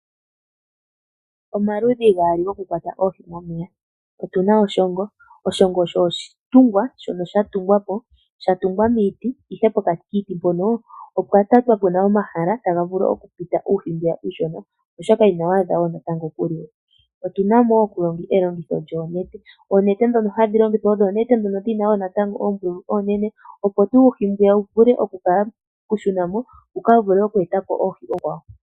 Omaludhi gaali gokukwata oohi momeya. Otu na oshongo, oshongo osho oshitungwa shono sha tungwa po. Sha tungwa miiti ihe pokati kiiti mpono opwa tatwa puna omahala taga vulu okupita uuhi mbwiya uushona, oshoka inawu adha wo natango okuliwa. Otuna mo wo elongitho lyoonete, oonete dhono hadhi longithwa odho oonete dhono dhina natango wo oombululu oonene, opo tuu uuhi mbwiya wu vule okushuna mo. Wuka vule okweeta po oohi oonkwawo.